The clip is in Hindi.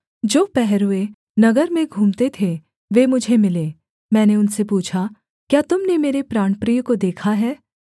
जो पहरूए नगर में घूमते थे वे मुझे मिले मैंने उनसे पूछा क्या तुम ने मेरे प्राणप्रिय को देखा है